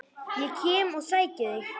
Ég kem og sæki þig!